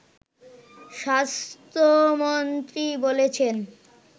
স্বাস্থ্যমন্ত্রী বলেছেন